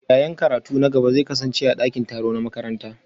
Yaye karatun na gaba zai kasance a dakin taro na makaranta